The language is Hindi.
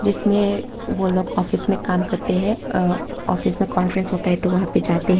इसमें ओ लोग ऑफिस में काम करते हैं अ ऑफिस में कॉन्फ्रेंस होता है तो वहां पर जाते हैं।